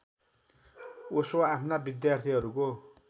ओशो आफ्ना विद्यार्थीहरूको